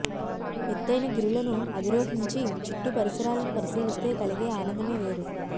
ఎత్తయిన గిరులను అధిరోహించి చుట్టు పరిసరాలను పరిశీలిస్తే కలిగే ఆనందమే వేరు